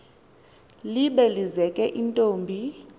libe lizeke intombi